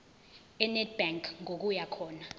enedbank ngokuya khona